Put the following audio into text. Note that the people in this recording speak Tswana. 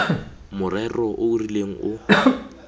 morero o o rileng o